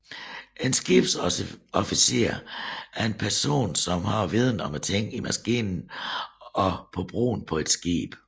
En skibsofficer er en person som har viden om tingene i maskinen og på broen på et skib